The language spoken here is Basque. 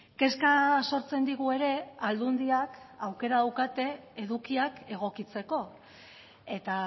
kezka sortzen digu ere aldundiak aukera daukate edukiak egokitzeko eta